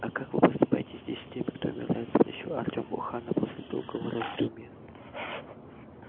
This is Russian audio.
а как вы поступаете здесь с теми кто умирает спросил артем у хана после долгого раздумья